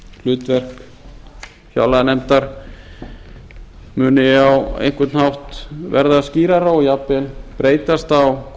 hlutverk fjárlaganefndar muni á einhvern hátt verða skýrara og jafnvel breytast á